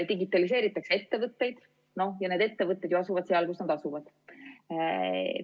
Digitaliseeritakse ettevõtteid ja need ettevõtted asuvad seal, kus nad asuvad.